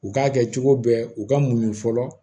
U k'a kɛ cogo bɛɛ u ka muɲu fɔlɔ